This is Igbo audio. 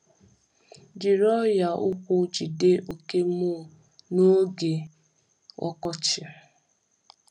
Jiri ọnyà ụkwụ jide oke mole n’oge oke mole n’oge ọkọchị.